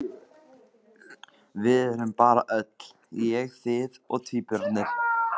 Við förum bara öll: ég, þið og tvíburarnir!